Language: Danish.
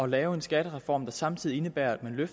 lave en skattereform der samtidig indebærer at man giver